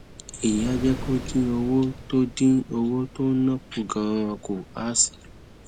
èyí á jé kó o dín owó tó dín owó tó ò ń ná kù ganan kù á sì